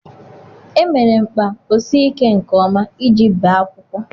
Emere mkpa ọ sii ike nke ọma iji bee akwụkwọ.